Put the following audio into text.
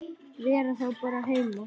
Vera þá bara heima?